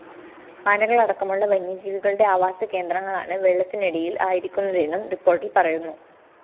ആനകളടക്കമുള്ള വന്യജീവികളുടെ ആവാസകേന്ദ്രങ്ങളാണ് വെള്ളത്തിനടിയില്‍ ആയിരിക്കുന്നതെന്നും റിപ്പോര്‍ട്ടില്‍ പറയുന്നു